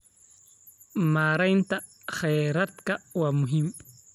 Maareynta kheyraadka waa muhiim.